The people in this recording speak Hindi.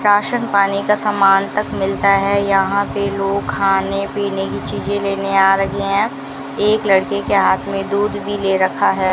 राशन पानी का समान तक मिलता है यहां पे लोग खाने पीने की चीजें लेने आ रहे हैं एक लड़के के हाथ में दूध भी ले रखा है।